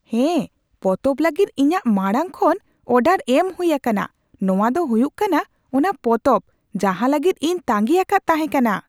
ᱦᱮᱸ ! ᱯᱚᱛᱚᱵ ᱞᱟᱹᱜᱤᱫ ᱤᱧᱟᱹᱜ ᱢᱟᱲᱟᱝ ᱠᱷᱚᱱ ᱚᱰᱟᱨ ᱮᱢ ᱦᱩᱭ ᱟᱠᱟᱱᱟ ᱾ ᱱᱚᱶᱟ ᱫᱚ ᱦᱩᱭᱩᱜ ᱠᱟᱱᱟ ᱚᱱᱟ ᱯᱚᱛᱚᱵ ᱡᱟᱦᱟᱸ ᱞᱟᱹᱜᱤᱫ ᱤᱧ ᱛᱟᱸᱜᱤ ᱟᱠᱟᱫ ᱛᱟᱦᱮᱸ ᱠᱟᱱᱟ ᱾